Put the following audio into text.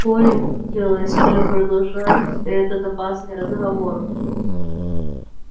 коле не хотелось продолжать этот опасный разговор